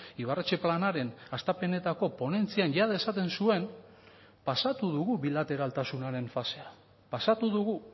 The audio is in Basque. ibarretxe planaren hastapenetako ponentzian jada esaten zuen pasatu dugu bilateraltasunaren fasea pasatu dugu